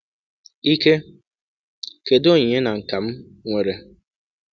Ike: kedu onyinye na nka m nwere?